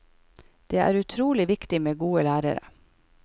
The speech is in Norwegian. Det er utrolig viktig med gode lærere.